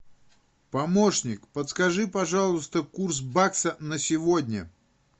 помощник подскажи пожалуйста курс бакса на сегодня